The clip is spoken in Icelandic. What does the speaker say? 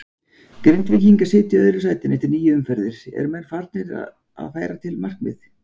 Grindvíkingar sitja í öðru sæti eftir níu umferðir, eru menn farnir að færa til markmið?